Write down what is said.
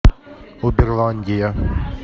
уберландия